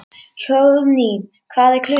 Hróðný, hvað er klukkan?